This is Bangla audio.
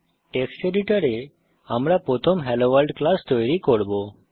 টেক্সট এডিটর এ আমরা প্রথম হেলোভোর্ল্ড ক্লাস তৈরি করব